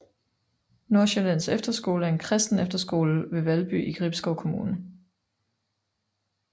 Nordsjællands Efterskole er en kristen efterskole ved Valby i Gribskov Kommune